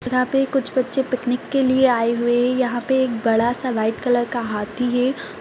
यहाँ पे कुछ बच्चे पिकनिक के लिये आये हुए हैं यहाँ पे एक बड़ा सा वाइट कलर का हाथी है।